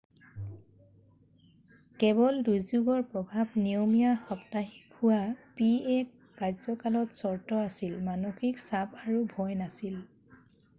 কেৱল দুৰ্যোগৰ প্ৰভাৱ নিয়মীয়া সাপ্তাহিক হোৱা pa কাৰ্যকালত চৰ্ত আছিল, মানসিক চাপ আৰু ভয় নাছিল।